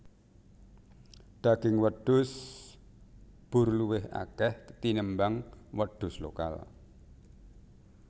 Daging wedhus boer luwih akeh tinimbang wedhus lokal